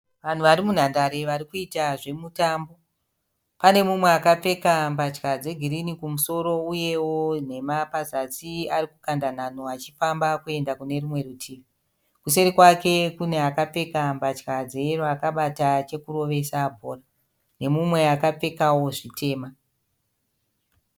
Vanhu vari munhandare varikuita zvemutambo. Panemunwe akapfeka mbatya dzegirinhi kumusoro uyewo nhema pazasi arikukanda nhano achifamba kuenda kune rimwe rutivi. Kuseri kwake kune akapfeka mbatya dzeyero akabata chekurovesa bhora. Nemumwe akapfekawo zvitema.